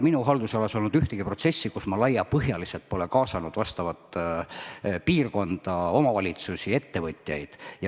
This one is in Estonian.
Minu haldusalas ei ole olnud ühtegi protsessi, kus ma laiapõhjaliselt poleks kaasanud vastavat piirkonda, omavalitsusi ja ettevõtjaid.